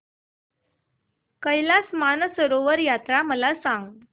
कैलास मानसरोवर यात्रा मला सांग